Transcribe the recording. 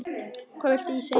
Hvað viltu ég segi?